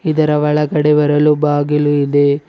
ಇದರ ಒಳಗಡೆ ಬರಲು ಬಾಗಿಲು ಇದೆ.